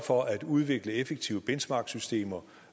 for at udvikle effektive benchmarksystemer